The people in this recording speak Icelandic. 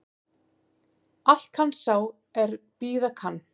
Allt kann sá er bíða kann